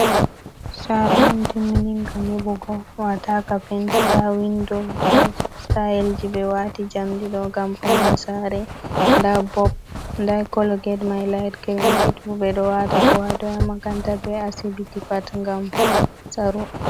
Sare on timmininga nyiɓugo wataka penti nda windo nda sitayelji ɓe wati jamɗe ɗo gam vokna sare nda bob nda kolo ged mi layit girin get bo ɓe ɗo wata ko hatoi ha makaranta be asibiti pat gam saro.